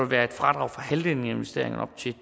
være fradrag for halvdelen af investeringerne op til